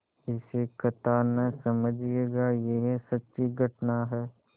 इसे कथा न समझिएगा यह सच्ची घटना है